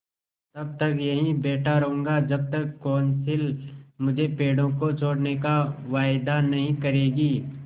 तब तक यहीं बैठा रहूँगा जब तक कौंसिल मुझे पेड़ों को छोड़ने का वायदा नहीं करेगी